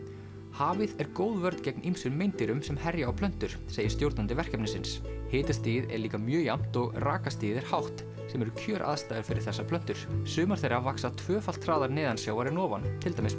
hafið er góð vörn gegn ýmsum meindýrum sem herja á plöntur segir stjórnandi verkefnisins hitastigið er líka mjög jafnt og rakastigið er hátt sem eru kjöraðstæður fyrir þessar plöntur sumar þeirra vaxa tvöfalt hraðar neðansjávar en ofan til dæmis